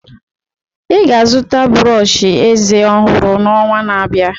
Ị ga-azụta brọsh eze ọhụrụ n'ọnwa na-abịa.